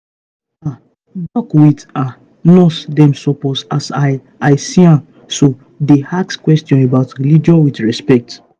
ah doc with ah nurse dem suppose as i i see am so dey ask questions about religion with respect.